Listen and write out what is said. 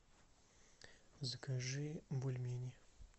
закажи бульмени